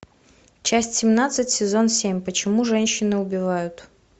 часть семнадцать сезон семь почему женщины убивают